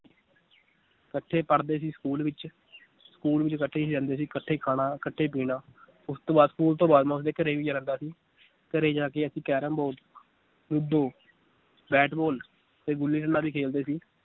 ਕੱਠੇ ਪੜ੍ਹਦੇ ਸੀ school ਵਿਚ school ਵਿਚ ਕੱਠੇ ਹੀ ਰਹਿੰਦੇ ਸੀ ਇਕੱਠੇ ਹੀ ਖਾਣਾ, ਇਕੱਠੇ ਪੀਣਾ ਉਸ ਤੋਂ ਬਾਅਦ school ਤੋਂ ਬਾਅਦ ਮੈ ਉਸ ਦੇ ਘਰੇ ਵੀ ਜਾਂਦਾ ਸੀ ਘਰੇ ਜਾ ਕੇ ਅਸੀਂ ਕੈਰਮ ਬੋ~ ਲੁਡੋ ਬੈਟਬਾਲ ਤੇ ਗੁੱਲੀ ਡੰਡਾ ਵੀ ਖੇਲਦੇ ਸੀ